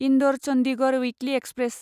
Indore Chandigarh weekly express